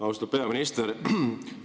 Austatud peaminister!